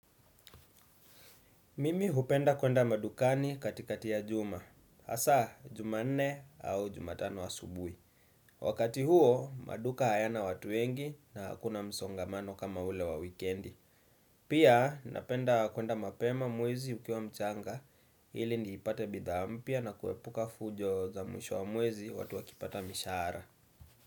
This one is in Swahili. Mimi hupenda kuenda madukani katikati ya juma. Hasa, jumanne au jumatano asubui. Wakati huo, maduka hayana watu wengi na hakuna msongamano kama ule wa wikendi. Pia, napenda kuenda mapema mwezi ukiwa mchanga. Ili nipate bidhaa mpya na kuepuka fujo za mwisho wa mwezi watu wakipata mishaara.